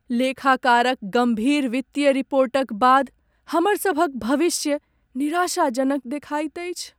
लेखाकारक गम्भीर वित्तीय रिपोर्टक बाद हमरसभक भविष्य निराशाजनक देखाइत अछि।